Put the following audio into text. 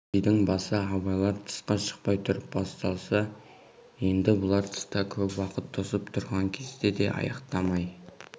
бұл сыйдың басы абайлар тысқа шықпай тұрып басталса енді бұлар тыста көп уақыт тосып тұрған кезде де аяқтамай